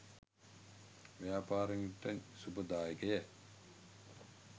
ව්‍යාපාරිකයන්ට ශුභදායකය.